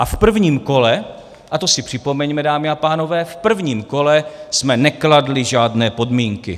A v prvním kole, a to si připomeňme, dámy a pánové, v prvním kole jsme nekladli žádné podmínky.